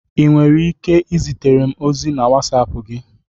Ị nwere ike izitere m ozi na wasapu gi?